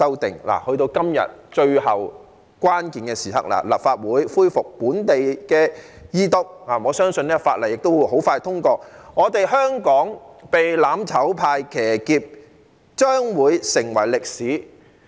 到了今天最後關鍵的時刻，本地立法在立法會恢復二讀，我相信法案亦會很快通過，香港被"攬炒派"騎劫將會成為歷史。